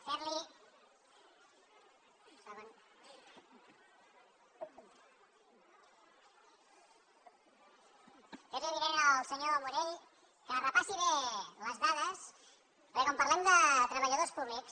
fer li avinent al senyor morell que repassi bé les dades perquè quan parlem de treballadors públics